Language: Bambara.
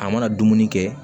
A mana dumuni kɛ